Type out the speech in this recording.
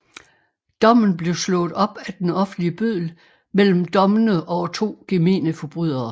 Dommen blev slået op af den offentlige bøddel mellem dommene over to gemene forbrydere